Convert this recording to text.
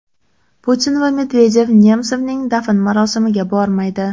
Putin va Medvedev Nemsovning dafn marosimiga bormaydi.